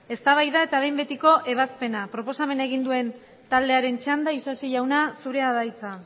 eztabaida eta behin betiko ebazpena proposamen egin duen taldearen txanda isasi jauna zurea da hitza